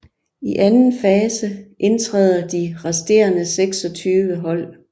I anden fase indtræder de resterende 26 hold